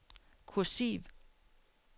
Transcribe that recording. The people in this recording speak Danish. kursiv